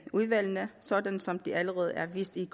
udvalgene sådan som det allerede er vist i